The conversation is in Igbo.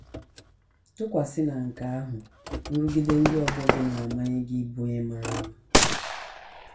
Tụkwasị na nke ahụ, nrụgide ndị ọgbọ gị na - amanye gị ịbụ onye mara mma.